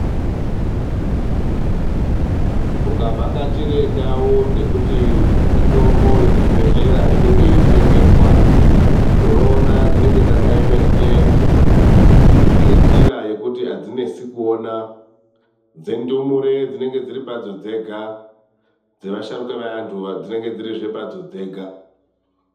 Ukavhakachire ndau dzekuti mitombo yemuzvibhedhlera inenge yeitengeswa, unoona dzinenge dzakaemeswa ngenjira yekuti adzinesi kuona. Dzendumure dzinenge dziri padzo dzega dzevasharuka eantu dzinenge dzirizve padzo dzega.